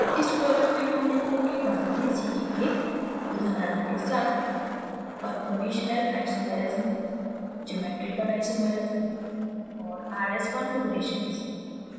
इस tutorial में हम निम्न के बारे में सीखेंगे: उदाहरणों के साथ conformational isomerism geometrical isomerism और rs configurations